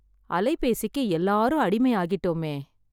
அலைபேசிக்கு எல்லாரும் அடிமை ஆகிட்டோமே